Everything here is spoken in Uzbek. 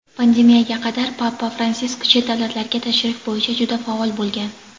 Pandemiyaga qadar Papa Fransisk chet davlatlarga tashrif bo‘yicha juda faol bo‘lgan.